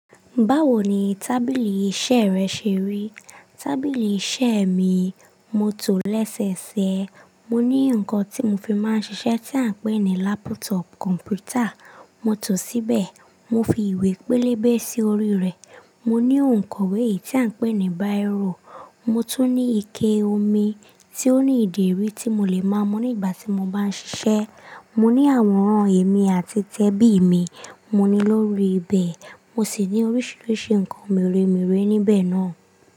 Báwo ni tábìlì iṣẹ́ rẹ ṣe rí? Tábìlì iṣẹ́ mi, mo tòó lẹ́sẹ̀ẹsẹ̀. Mo ní nǹkan tí mo fi máa ń ṣiṣẹ́ tí à ń pè ní lápútọ̀pù kọ̀m̀pútà. Mo tòó síbẹ̀, mo fi ìwé pélébé sí orí rẹ̀. Mo ní òǹkọ̀wé tí à ń pè ní báìrò. Mo tún ní ike omi tí ó ní ìdérí tí mo lè ma mú nígbà tí mo bá ń ṣiṣẹ́. Mo ní àwòrán èmi àti tẹ́bí mi, mo ní lórí ibẹ̀. Mo sì ní oríṣiríṣi nǹkan mèremère níbẹ̀ náà.